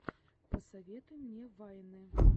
посоветуй мне вайны